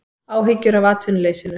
Áhyggjur af atvinnuleysinu